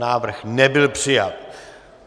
Návrh nebyl přijat.